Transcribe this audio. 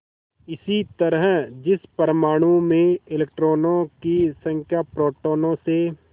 इसी तरह जिस परमाणु में इलेक्ट्रॉनों की संख्या प्रोटोनों से